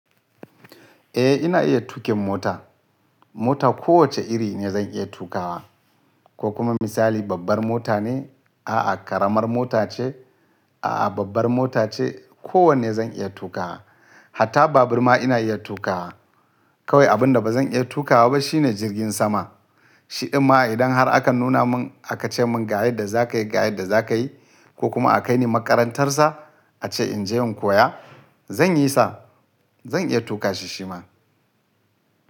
Eh ina iya tuƙin mota. Mota kowacce iri ne zan iya tukawa. Ko kuma misali babbar mota ne? A'a karamar mota ce? A'a babbar mota ce? Kowanne zan iya tukawa. Hatta babur ma ina iya tukawa. Kawai abun da ba zan iya tukawa ba shine jirgin sama. Shidinma idan har aka nuna mun aka ce mun ga yadda za ka yi, ga yadda za ka yi ko kuma akaini makarantar sa, ace in je in koya, zan yi sa. Zan iya tuka shi shi ma.